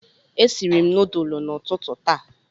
E siri m nudulu n'ututu taa